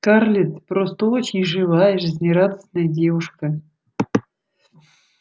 скарлетт просто очень живая жизнерадостная девушка